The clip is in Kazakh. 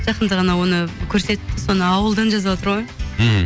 жақында ғана оны көрсетті соны ауылдан жазып жатыр ғой мхм